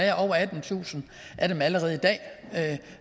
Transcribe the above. er over attentusind af dem allerede i dag